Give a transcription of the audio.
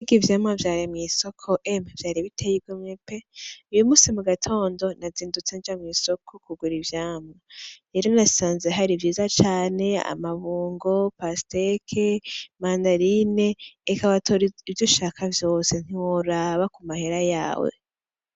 Mbega ivyamwa vyari mw'isoko emwe vyari biteye igomwe pe uyu munsi mu gatondo nazindutse nja mw'isoko kugura ivyamwa rero nasanze hari vyiza cane amabungo, pasiteke, mandarine eka watori ivyo ushaka vyose ntiworaba ku mahera yawe.